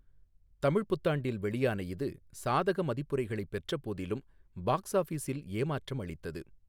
தமிழ் புத்தாண்டில் வெளியான இது, சாதக மதிப்புரைகளைப் பெற்ற போதிலும் பாக்ஸ் ஆஃபிஸில் ஏமாற்றம் அளித்தது.